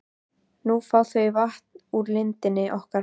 Nú fá þau vatn úr lindinni okkar.